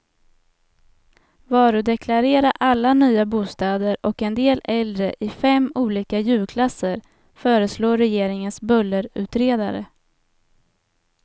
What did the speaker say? Varudeklarera alla nya bostäder och en del äldre i fem olika ljudklasser, föreslår regeringens bullerutredare.